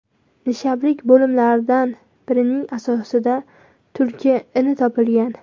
Nishablik bo‘limlardan birining asosida tulki ini topilgan.